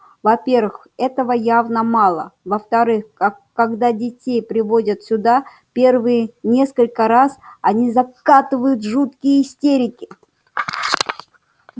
во-первых этого явно мало а во-вторых как когда детей приводят сюда первые несколько раз они закатывают жуткие истерики